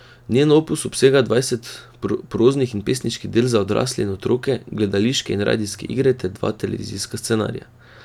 Njen opus obsega dvajset proznih in pesniških del za odrasle in otroke, gledališke in radijske igre ter dva televizijska scenarija.